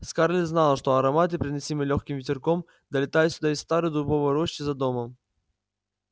скарлетт знала что ароматы приносимые лёгким ветерком долетают сюда из старой дубовой рощи за домом